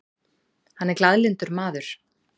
Hann er glaðlyndur maður.